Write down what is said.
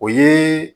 O ye